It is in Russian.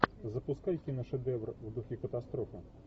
запускай киношедевр в духе катастрофа